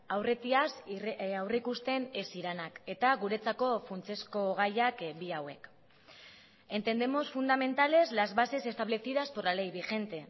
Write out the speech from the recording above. aurretiaz aurrikusten ez zirenak eta guretzako funtsezko gaiak bi hauek entendemos fundamentales las bases establecidas por la ley vigente